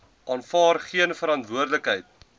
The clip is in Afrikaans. aanvaar geen verantwoordelikheid